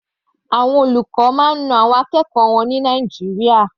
Àwọn olùkọ́ máa ń na àwọn akẹ́kọ̀ọ́ wọn ní Nàìjíríà.